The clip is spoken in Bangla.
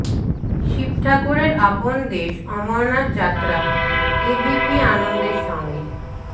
শিব ঠাকুরের আপন দেশ অমরনাথ যাত্রা এবিপি আনন্দের সঙ্গে